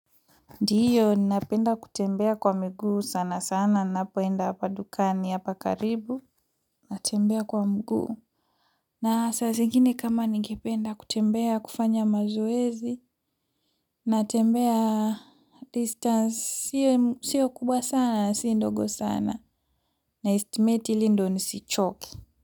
Ndiyo ninapenda kutembea kwa miguu sana sana ninapoenda hapa dukani hapa karibu natembea kwa mguu. Na saa zingine kama nigependa kutembea kufanya mazoezi natembea distance sio kubwa sana na si ndogo sana na estimate ili ndiyo nisichoke.